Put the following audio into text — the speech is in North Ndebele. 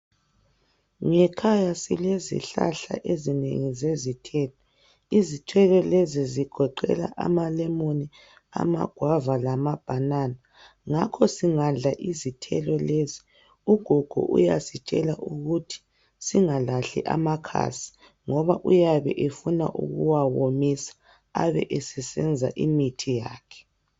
Ngekhaya silezihlahla ezinengi zezithelo. Izithelo lezi zigoqela amalemoni amagwava lamabanana ngakho singadla izithelo lezi ,ugogo uyasitshela ukuthi singalahli amakhasi ngoba uyabe efuna ukuwawomisa abe esesenza imithi yakhe.